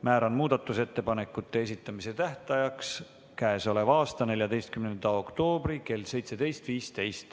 Määran muudatusettepanekute esitamise tähtajaks k.a 14. oktoobri kell 17.15.